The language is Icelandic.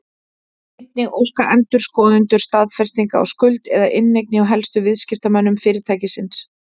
Einnig óska endurskoðendur staðfestinga á skuld eða inneign hjá helstu viðskiptamönnum fyrirtækisins.